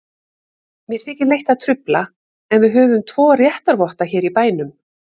Mér þykir leitt að trufla, en við höfum tvo réttarvotta hér í bænum.